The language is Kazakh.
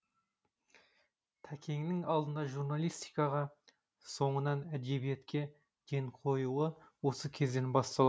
тәкеннің алдымен журналистикаға соңынан әдебиетке ден қоюы осы кезден басталады